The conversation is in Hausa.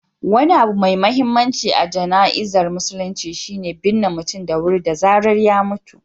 Wani abu mai mahimmanci a jana'izar musulunci shi ne binne mutum da wuri da zarar ya mutu.